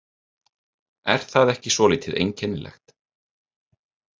Er það ekki svolítið einkennilegt?